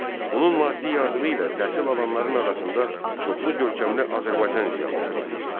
Onun maddi yardımı ilə təhsil alanların arasında çoxlu görkəmli Azərbaycan ziyalısı var idi.